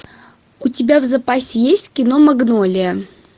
у тебя в запасе есть кино магнолия